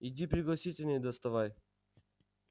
иди пригласительные доставай